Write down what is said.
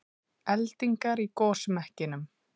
Eldingar í gosmekkinum